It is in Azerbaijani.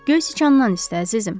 Göy siçandan istə əzizim.